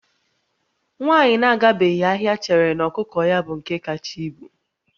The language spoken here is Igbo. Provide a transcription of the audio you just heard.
Nwaanyị na-agabeghị ahịa chere na ọkụkọ ya bụ nke kacha ibu